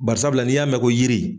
Bari sabula n'i y'a mɛn ko yiri